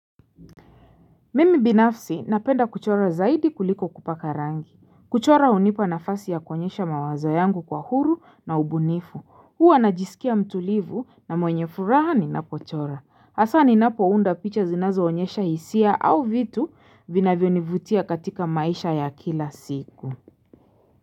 Mimi binafsi napenda kuchora zaidi kuliko kupaka rangi. Kuchora hunipa nafasi ya kuonyesha mawazo yangu kwa huru na ubunifu. Huwa najisikia mtulivu na mwenye furaha ninapochora. Hasa ninapo unda picha zinazoonyesha hisia au vitu vinavyonivutia katika maisha ya kila siku.